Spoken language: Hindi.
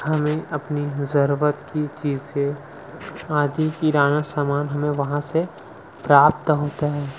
हमें अपनी जरूरत की चीजे आदि किराना सामान हमें वहाँ से प्राप्त होता है।